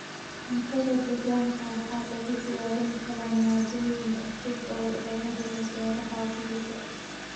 Cuntada deegaanka waxaa lagu diyaarin karaa maaddooyin cusub oo laga helo beeraha guriga.